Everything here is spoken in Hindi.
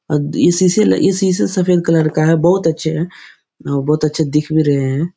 ये सीसी ये सीसी सफ़ेद कलर का है बहुत अच्छे है बहुत अच्छे दिख भी रहे है ।